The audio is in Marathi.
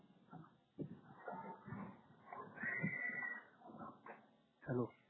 hello